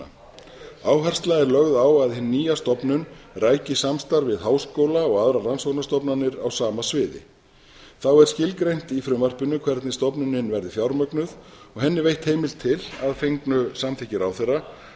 stofnunina áhersla er lögð á að hin nýja stofnun ræki samstarf við háskóla og aðra rannsóknastofnanir á sama sviði þá er skilgreint í frumvarpinu hvernig stofnunin verði fjármögnuð og henni veitt heimild til að fengnu samþykki ráðherra